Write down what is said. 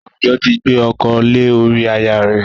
Àwùjọ ti gbé ọkọ lé ori aya rẹ̀